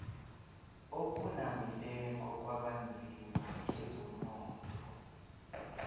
okunabileko kwabanzima kezomnotho